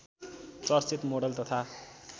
चर्चित मोडल तथा